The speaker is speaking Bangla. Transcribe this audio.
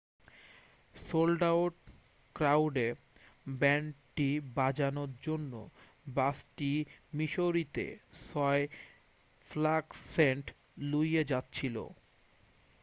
সোল্ড আউট ক্রাউডে ব্যান্ডটি বাজানোর জন্য বাসটি মিসৌরিতে 6 ফ্ল্যাগস সেন্ট লুইয়ে যাচ্ছিল